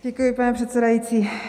Děkuji, pane předsedající.